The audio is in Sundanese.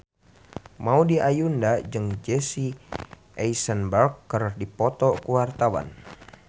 Maudy Ayunda jeung Jesse Eisenberg keur dipoto ku wartawan